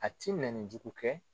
A ti minɛnni jugu kɛ.